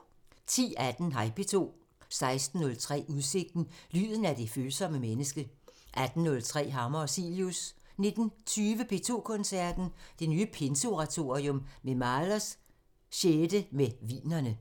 10:18: Hej P2 16:03: Udsigten – Lyden af det følsomme menneske 18:03: Hammer og Cilius 19:20: P2 Koncerten – Det nye Pinseoratorium og Mahlers 6. med Wienerne